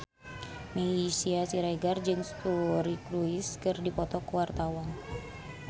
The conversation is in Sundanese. Meisya Siregar jeung Suri Cruise keur dipoto ku wartawan